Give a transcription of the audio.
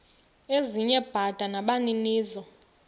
ezinye bada nabaninizo